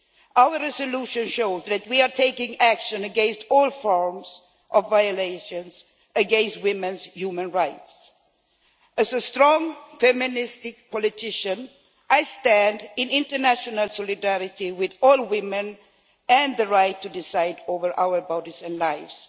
Our resolution shows that we are taking action against all forms of violations of women's human rights. As a strong feministic politician, I stand in international solidarity with all women and the right to decide over our bodies and lives.